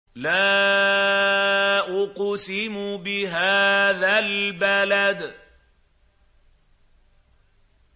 لَا أُقْسِمُ بِهَٰذَا الْبَلَدِ